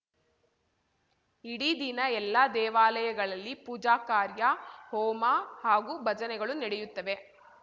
ಇಡೀ ದಿನ ಎಲ್ಲಾ ದೇವಾಲಯಗಳಲ್ಲಿ ಪೂಜಾಕಾರ್ಯ ಹೋಮ ಹಾಗೂ ಭಜನೆಗಳು ನಡೆಯುತ್ತವೆ